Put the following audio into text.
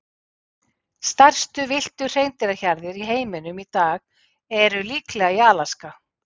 Stærstu villtu hreindýrahjarðir í heiminum í dag eru líklega í Alaska.